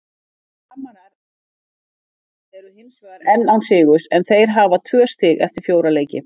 Framarar eru hinsvegar enn án sigurs en þeir hafa tvö stig eftir fjóra leiki.